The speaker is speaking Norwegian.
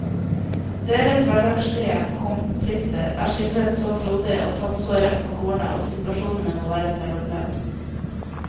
Deres hverdagslige konflikter er skildret så frodig og tatt så rett på kornet at situasjonene må være selvopplevd.